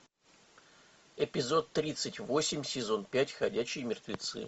эпизод тридцать восемь сезон пять ходячие мертвецы